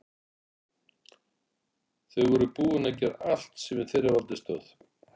Þau voru búin að gera allt sem í þeirra valdi stóð.